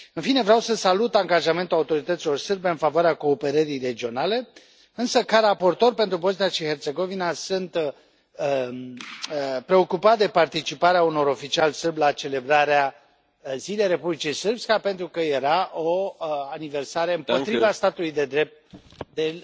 În fine, vreau să salut angajamentul autorităților sârbe în favoarea cooperării regionale, însă, ca raportor pentru Bosnia și Herțegovina, sunt preocupat de participarea unor oficiali sârbi la celebrarea zilei Republicii Srpska, pentru că era o aniversare împotriva statului de drept din